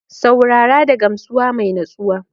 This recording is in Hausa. Saurara da gamsuwa mai nutsuwa